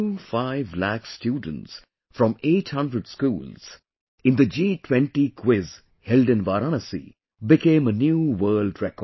25 lakh students from 800 schools in the G20 Quiz held in Varanasi became a new world record